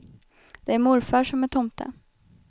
Det är morfar som är tomte.